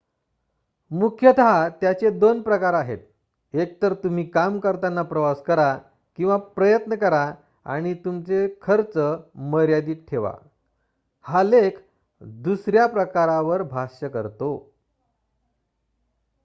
मुख्यत त्याचे दोन प्रकार आहेत एकतर तुम्ही काम करताना प्रवास करा किंवा प्रयत्न करा आणि तुमचे खर्च मर्यादित ठेवा हा लेख दुसऱ्या प्रकारावर भाष्य करतो